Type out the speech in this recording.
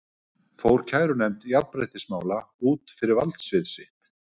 Fór kærunefnd jafnréttismála út fyrir valdsvið sitt?